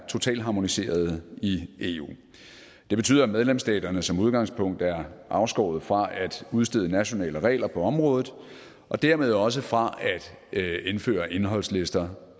totalharmoniserede i eu og det betyder at medlemsstaterne som udgangspunkt er afskåret fra at udstede nationale regler på området og dermed også fra at indføre indholdslister